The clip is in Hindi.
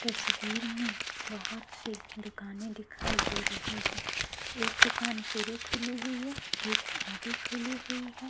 तस्वीर में बहुत-सी दुकानें दिखाई दे रही हैं एक दुकान पूरी खुली हुई है एक आधी खुली हुई है।